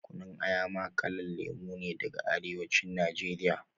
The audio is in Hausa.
Kunun Aya ma kalan lemu ne daga arewa cin nigeria